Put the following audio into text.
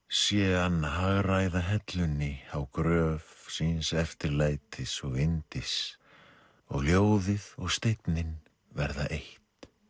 sé hann hagræða hellunni á gröf síns eftirlætis og yndis og ljóðið og steinninn verða eitt